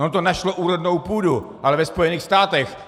Ono to našlo úrodnou půdu, ale ve Spojených státech.